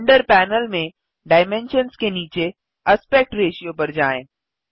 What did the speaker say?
render panel में dimensions के नीचे एस्पेक्ट रेशियो पर जाएँ